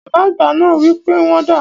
Bàbá àgbà náà wi pe wọ́n dàá.